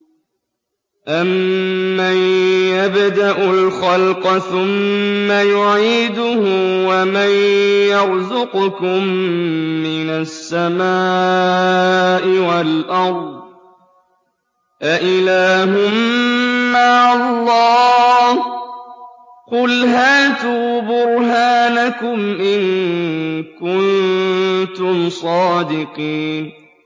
أَمَّن يَبْدَأُ الْخَلْقَ ثُمَّ يُعِيدُهُ وَمَن يَرْزُقُكُم مِّنَ السَّمَاءِ وَالْأَرْضِ ۗ أَإِلَٰهٌ مَّعَ اللَّهِ ۚ قُلْ هَاتُوا بُرْهَانَكُمْ إِن كُنتُمْ صَادِقِينَ